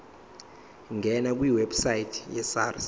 ngena kwiwebsite yesars